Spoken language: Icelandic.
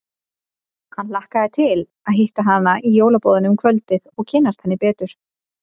Hann hlakkaði til að hitta hana í jólaboðinu um kvöldið og kynnast henni betur.